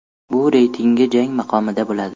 Bu reytingi jangi maqomida bo‘ladi.